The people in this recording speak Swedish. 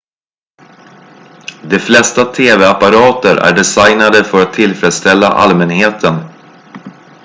de flesta tv-apparater är designade för att tillfredsställa allmänheten